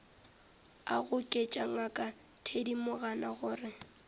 a goketša ngaka thedimogane gore